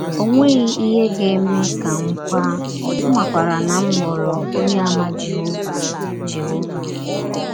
Ọ nweghị ihe ga - eme ka m kwaa mmakwaara na m ghọrọ Ọnyeàmà Jehọva Jehọva.